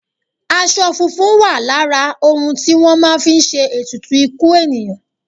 Aṣọ funfun wà lára òun tí wọ́n máa ń fi ṣe ètùtù ikú ènìyàn.